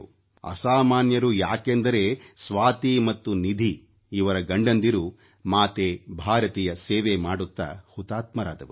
ಅಸಾಮಾನ್ಯರು ಯಾಕೆಂದರೆ ಸ್ವಾತಿ ಮತ್ತು ನಿಧಿ ಇವರ ಗಂಡಂದಿರು ಮಾತೆ ಭಾರತಿಯ ಸೇವೆ ಮಾಡುತ್ತ ಹುತಾತ್ಮರಾದವರು